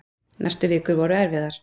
Næstu vikur voru erfiðar.